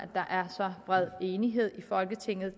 der er så bred enighed i folketinget